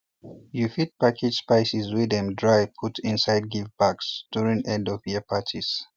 you fit package spices wey them dry put inside gift bags during endofyear parties